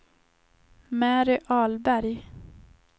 Mary Ahlberg